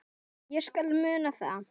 Ég skal muna það.